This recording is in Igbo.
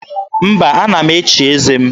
Mba, ana m echi eze m.